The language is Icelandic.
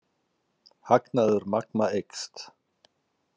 Hagnaður Magma eykst